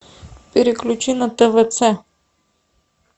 переключи на твц